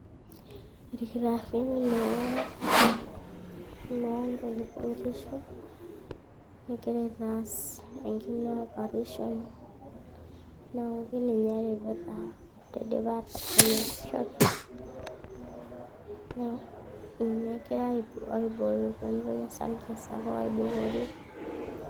irkitarrini looloonkishu egira aitaas enkine operation neeku kininye eripita tidipa atadany enkoshoke ninye egirae aibooyo pemitoki osarge sapuk aibukori.